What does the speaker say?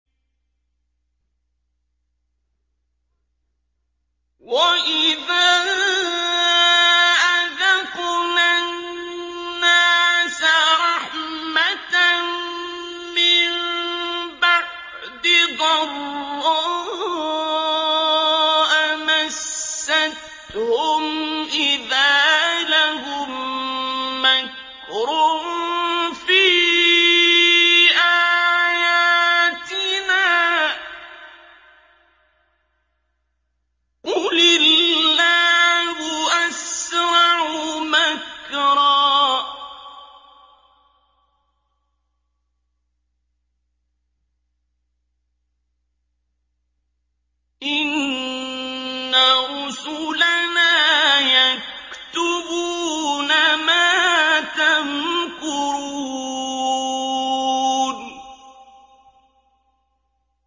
وَإِذَا أَذَقْنَا النَّاسَ رَحْمَةً مِّن بَعْدِ ضَرَّاءَ مَسَّتْهُمْ إِذَا لَهُم مَّكْرٌ فِي آيَاتِنَا ۚ قُلِ اللَّهُ أَسْرَعُ مَكْرًا ۚ إِنَّ رُسُلَنَا يَكْتُبُونَ مَا تَمْكُرُونَ